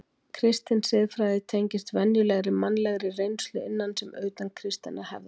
Kristin siðfræði tengist venjulegri mannlegri reynslu, innan sem utan kristinnar hefðar.